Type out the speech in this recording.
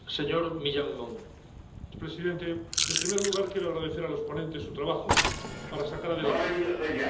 Señor presidente, en primer lugar quiero agradecer a los ponentes su trabajo para sacar adelante este informe.